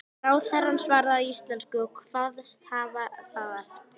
Ráðherrann svaraði á íslensku og kvaðst hafa það eftir